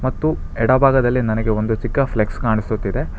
ಮತ್ತು ಎಡ ಭಾಗದಲ್ಲಿ ನನಗೆ ಒಂದು ಚಿಕ್ಕ ಫ್ಲೆಕ್ಸ್ ಕಾಣಿಸುತ್ತಿದೆ.